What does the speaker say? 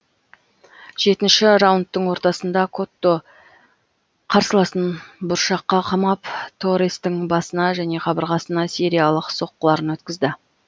жетінші раундтың ортасында котто қарсыласын бұрышқа қамап торрестың басына және қабырғасына сериялық соққыларын өткізді